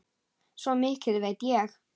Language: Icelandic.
Svo mikið veit ég.